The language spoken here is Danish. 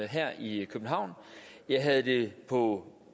her i københavn jeg havde det på